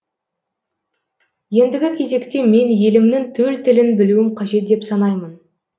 ендігі кезекте мен елімнің төл тілін білуім қажет деп санаймын